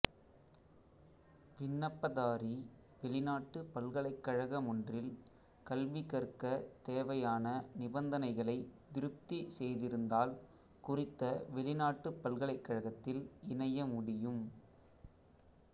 விண்ணப்பதாரி வெளிநாட்டுப் பல்கலைக்கழகமொன்றில் கல்விகற்கத் தேவையான நிபந்தனைகளைத் திருப்தி செய்திருந்தால் குறித்த வெளிநாட்டுப் பல்கலைக்கழகத்தில் இணைய முடியும்